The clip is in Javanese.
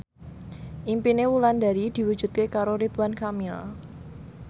impine Wulandari diwujudke karo Ridwan Kamil